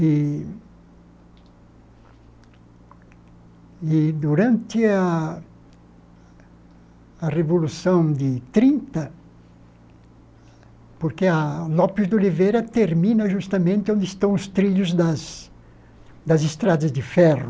E, e durante a a Revolução de trinta, porque a López de Oliveira termina justamente onde estão os trilhos das das estradas de ferro,